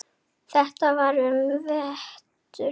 Þetta var um vetur.